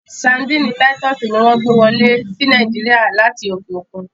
Sárḍíńí Títùsí ni wọn gbẹ wọlé sí Nàìjíríà látì okè okun.